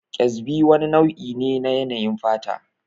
Ƙyazbi wani nau'i ne na yanayin fata